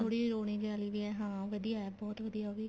ਥੋੜੀ ਰੋਣੀ ਜੀ ਵਾਲੀ ਵੀ ਏ ਹਾਂ ਵਧੀਆ ਬਹੁਤ ਵਧੀਆ ਉਹ ਵੀ